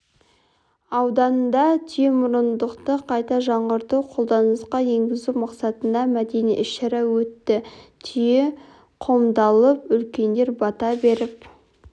ауданында түйемұрындықты қайта жаңғыртып қолданысқа енгізу мақсатында мәдени іс-шара өтті түйе қомдалып үлкендер бата беріп